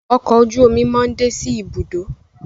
Ọkọ̀ ojú-omi món dé sí Ibùdó.